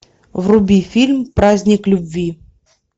вруби фильм праздник любви